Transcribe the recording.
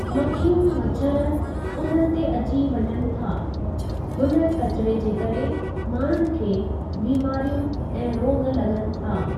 मखियूं मछरु उननि ते अची वञनि था हुन किचिरे जे करे माण्हूनि खे बीमारियूं ऐं रोॻ लॻनि था ।